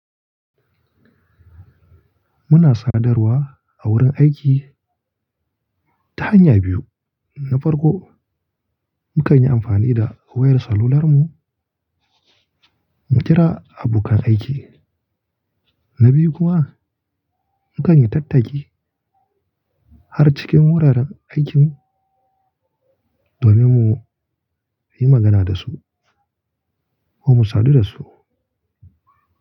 Muna sadarwa a wurin aiki ta hanya biyu. Na farko, mukan yi amfani da wayar salular mu mu kira abokan aiki. Na biyu kuma, mukan yi tattaki har cikin wuraren aikin domin mu yi magana da su ko mu sadu da su.